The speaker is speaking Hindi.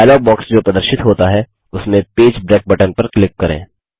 डायलॉग बॉक्स जो प्रदर्शित होता है उसमें पेज ब्रेक बटन पर क्लिक करें